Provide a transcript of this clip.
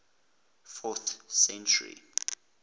fourth century